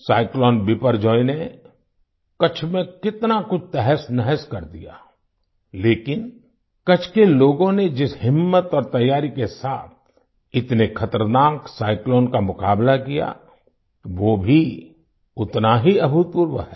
cyclone Biparjoy Biparjoy ने कच्छ में कितना कुछ तहसनहस कर दिया लेकिन कच्छ के लोगों ने जिस हिम्मत और तैयारी के साथ इतने खतरनाक साइक्लोन का मुक़ाबला किया वो भी उतना ही अभूतपूर्व है